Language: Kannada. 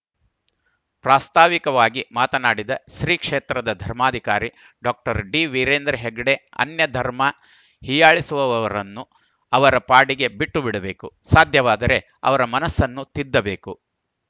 ಪ್ರಾಸ್ತಾವಿಕವಾಗಿ ಮಾತನಾಡಿದ ಶ್ರೀ ಕ್ಷೇತ್ರದ ಧರ್ಮಾಧಿಕಾರಿ ಡಾಕ್ಟರ್ ಡಿವೀರೇಂದ್ರ ಹೆಗ್ಗಡೆ ಅನ್ಯ ಧರ್ಮ ಹೀಯಾಳಿಸುವವರನ್ನು ಅವರ ಪಾಡಿಗೆ ಬಿಟ್ಟು ಬಿಡಬೇಕು ಸಾಧ್ಯವಾದರೆ ಅವರ ಮನಸ್ಸನ್ನು ತಿದ್ದಬೇಕು